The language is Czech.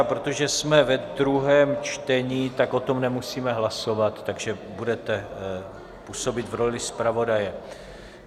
A protože jsme ve druhém čtení, tak o tom nemusíme hlasovat, takže budete působit v roli zpravodaje.